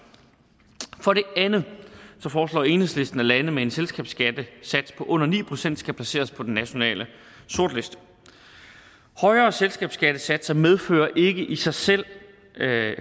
for det andet foreslår enhedslisten at lande med en selskabsskattesats på under ni procent skal placeres på den nationale sortliste højere selskabsskattesatser medfører ikke i sig selv